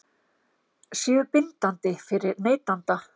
séu bindandi fyrir neytanda?